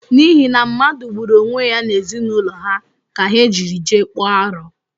N’ihi na mmadu gburu onwe ya n’ezinaụlọ ha ka ha jiri jee kpọọ aru